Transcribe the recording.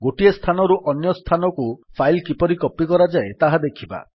ଗୋଟିଏ ସ୍ଥାନରୁ ଅନ୍ୟସ୍ଥାନକୁ ଫାଇଲ୍ କିପରି କପୀ କରାଯାଏ ତାହା ଦେଖିବା